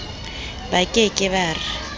ba ke ke ba re